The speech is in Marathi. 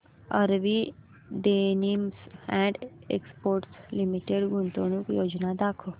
RV Denims and Exports Limited गुंतवणूक योजना दाखव